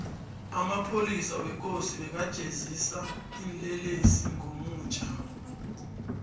amapholisa wekosi beka jezisa iinlelesi ngomutja